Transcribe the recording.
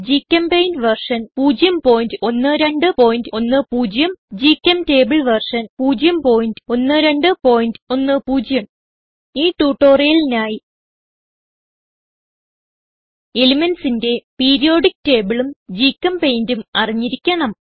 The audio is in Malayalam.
ഗ്ചെമ്പെയിന്റ് വെർഷൻ 01210 ഗ്ചെംറ്റബിൾ വെർഷൻ 01210 ഈ ട്യൂട്ടോറിയലിനായി elementsന്റെ പീരിയോഡിക്ക് tableഉം GChemPaintഉം അറിഞ്ഞിരിക്കണം